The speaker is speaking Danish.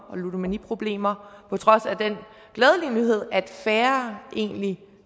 og ludomaniproblemer på trods af den glædelige nyhed at færre egentlig